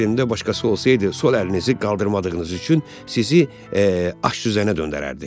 Yerimdə başqası olsaydı, sol əlinizi qaldırmadığınız üçün sizi aşüzənə döndərərdi.